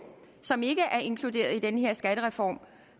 som ikke er inkluderet i den her skattereform